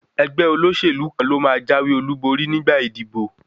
Ẹgbẹ́ olóṣèlú kan ló máa jáwé olúborí nígbà ìdìbò.